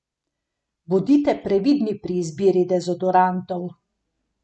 Bodite previdni pri izbiri dezodorantov.